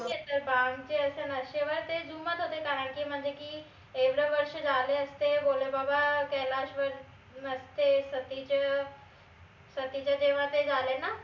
भांगचे नशेवर ते झुमत होते कारन की म्हनजे की एवढे वर्ष झाले असते भोले बाबा कैलास वर नसते सतीचे सतीच्या तेव्हा ते झाले न